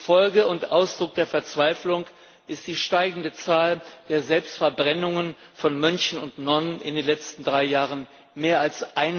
Folge und Ausdruck der Verzweiflung ist die steigende Zahl der Selbstverbrennungen von Mönchen und Nonnen in den letzten drei Jahren mehr als